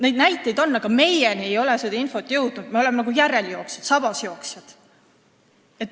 Neid näiteid on, aga meie ei ole seda infot saanud, me oleme nagu järeljooksjad, sabasjooksjad.